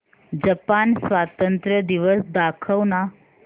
Japan स्वातंत्र्य दिवस दाखव ना